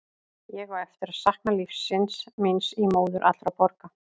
Ég á eftir að sakna lífsins míns í móður allra borga.